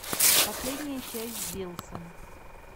последняя часть диллсон